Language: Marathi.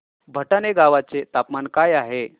भटाणे गावाचे तापमान काय आहे